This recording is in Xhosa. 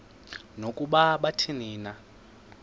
nokuba athini na